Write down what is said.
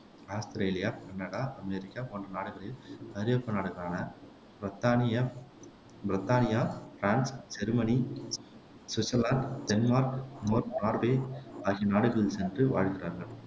Australia, Canada, America போன்ற நாடுகளில் ஐரோப்பிய நாடுகளான பிரத்தானியம், பிரித்தானியா, France, Germany, Switzerland, Denmark, Norway ஆகிய நாடுகளில் சென்று வாழ்கிறார்கள்